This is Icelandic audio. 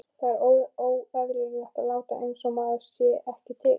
Það er óeðlilegt að láta einsog maður sé ekki til.